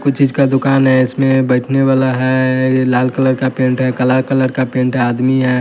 कुछ चीज का दुकान है इसमें बैठने वाला है ये लाल कलर का पेंट है काला कलर का पेंट है आदमी है।